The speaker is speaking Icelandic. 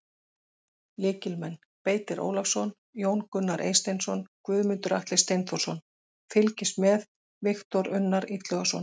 Lykilmenn: Beitir Ólafsson, Jón Gunnar Eysteinsson, Guðmundur Atli Steinþórsson: Fylgist með: Viktor Unnar Illugason.